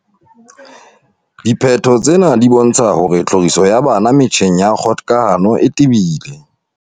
"Diphetho tsena di bontsha hore tlhoriso ya bana metjheng ya kgokahano e tebile."